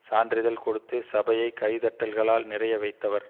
சான்றிதழ் கொடுத்து சபையை கை தட்டல்களால் நிறைய வைத்தவர்